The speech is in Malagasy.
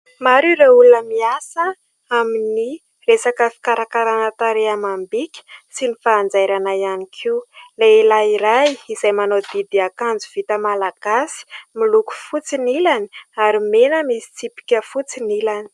Maro ireo olona miasa aminy resaka fikarakarana tarehy amam-bika sy ny fanjairana ihany koa. Lehilahy iray izay manao didy akanjo vita Malagasy miloko fotsy ny ilany ary mena misy tsipika fotsy ny ilany.